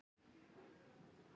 Ég man hvar ég var.